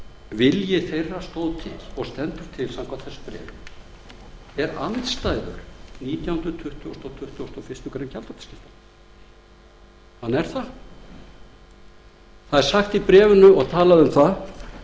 vilji þeirra stóð til og stendur til samkvæmt þessu bréfi er andstætt nítjánda tuttugasta og tuttugasta og fyrstu grein gjaldþrotaskiptalaga í bréfinu er talað um